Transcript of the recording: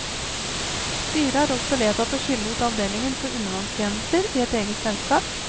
Styret har også vedtatt å skille ut avdelingen for undervannstjenester i et eget selskap.